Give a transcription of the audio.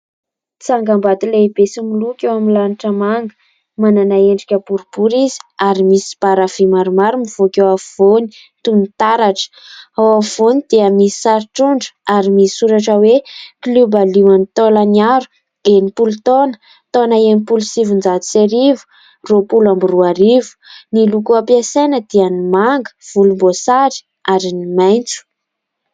Tsangambato lehibe sy miloko eo amin'ny lanitra manga manana endrika boribory izy ary misy baravy maromaro mivoaka eo afovoany toy ny taratra ao afovoany dia misy sary trondro ary misy soratra hoe klioba lioan'ny Tolañaro enimpolo taona taona enimpolo sy sivinjato sy arivo roapolo amby roa arivo ny loko ampiasaina dia ny manga, vonimboasary ary ny maitso